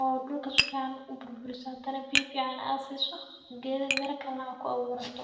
oo dulka sufican uburburiso hadana biya fican aad siso, qeeda mira kale nah aad kuawurato.